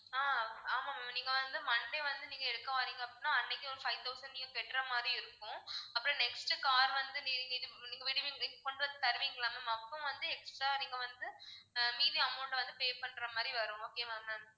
ஆஹ் ஆமா ma'am நீங்க வந்து monday வந்து நீங்க எடுக்க வர்றீங்க அப்படின்னா அன்னைக்கே ஒரு five thousand நீங்க கட்டற மாதிரி இருக்கும் அப்பறம் next car வந்து நீங்க விடுவீங்க கொண்டு வந்து தருவீங்கல்ல ma'am அப்போ வந்து extra நீங்க வந்து ஆஹ் மீதி amount அ வந்து pay பண்ற மாதிரி வரும் okay வா ma'am